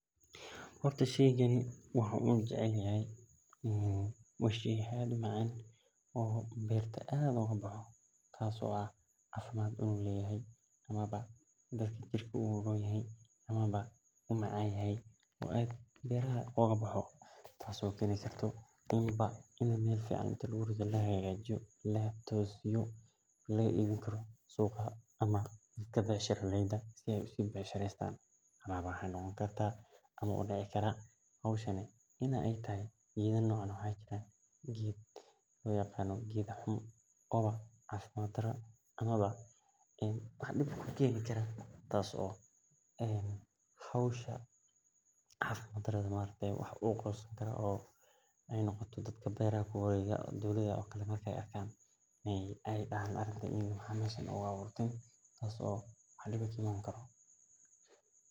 Horta sheygn waaxan waxan u jeceshahay waa shey aad u macan oo berta aad oga baxo oo macan oo fican in biya lagu ridho oo laga becshireysan karaa amawa waxaa dici kartaa in u cafimaad dara keno ayan u arki haya hoshani aniga said ban u necbahay maxaa yele dowlaada marki ee aragto maxee dihi maxaa meshan ogu aburten sas waye.